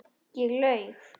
Ég laug.